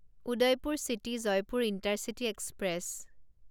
Udaipur city Jaipur intercity express